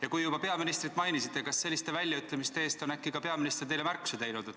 Ja kui te juba peaministrit mainisite, siis küsin, kas äkki on peaminister selliste väljaütlemiste eest teile märkusi teinud.